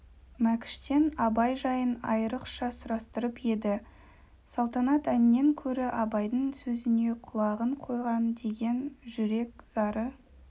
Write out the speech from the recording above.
мәкіштен абай жайын айрықша сұрастырып еді салтанат әннен көрі абайдың сөзіне құлағын қойған деген жүрек зары